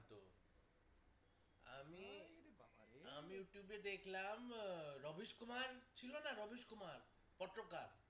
ইউটিউবে দেখলাম রমেশ কুমার ছিলনা রমেশ কুমার পত্রকার